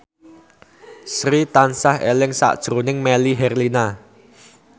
Sri tansah eling sakjroning Melly Herlina